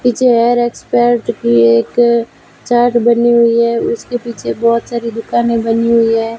पीछे hair expert की एक चार्ट बनी हुई है उसके पीछे बहोत सारी दुकानें बनी हुई है।